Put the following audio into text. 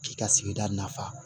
K'i ka sigida nafa